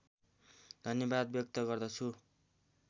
धन्यवाद व्यक्त गर्दछु